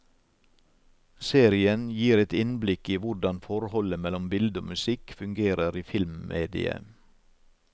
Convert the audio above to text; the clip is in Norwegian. Serien gir et innblikk i hvordan forholdet mellom bilde og musikk fungerer i filmmediet.